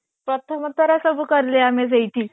ପ୍ରଥମ ଥର ସବୁ କଲେ ଆମେ ସେଇଠି